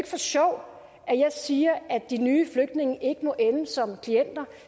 for sjov at jeg siger at de nye flygtninge ikke må ende som klienter